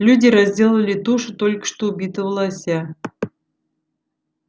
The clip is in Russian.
люди разделали тушу только что убитого лося